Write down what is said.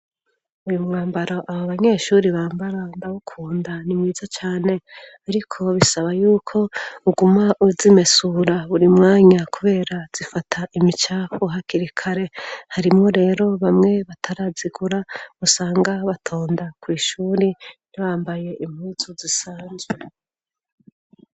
Uyu mwambaro abo banyeshuri bambara ndabukunda, ni mwiza cane ariko bisaba yuko uguma uzimesura buri mwanya kubera zifata imicafu hakirikare, harimo rero bamwe batarazigura musanga batonda ku ishuri nibambaye impuzu zisanzwe.